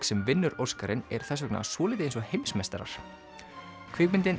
sem vinnur Óskarinn er þess vegna svolítið eins og heimsmeistarar kvikmyndin